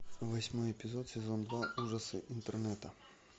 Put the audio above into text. восьмой эпизод сезон два ужасы интернета